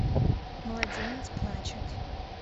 младенец плачет